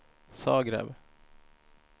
Zagreb